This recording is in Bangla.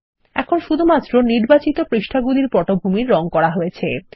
এখন শুধুমাত্র নির্বাচিত পৃষ্ঠাগুলির পটভূমির রঙ করা হয়েছে